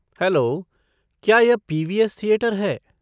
Hello, क्या यह PVS. Theatre है?